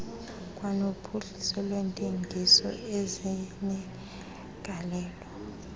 kwanophuhliso lwentengiso ezinegalelo